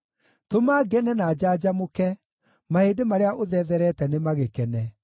Tũma ngene na njanjamũke; mahĩndĩ marĩa ũthetherete nĩmagĩkene.